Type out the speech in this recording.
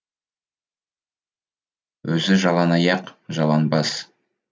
өзі жалаң аяқ жалаң бас